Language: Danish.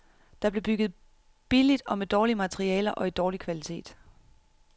Der blev bygget billigt og med dårlige materialer og i dårlig kvalitet.